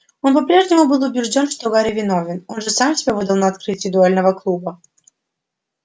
он по-прежнему был убеждён что гарри виновен он же сам себя выдал на открытии дуэльного клуба